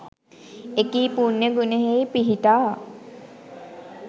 එකී පුණ්‍ය ගුණයෙහි පිහිටා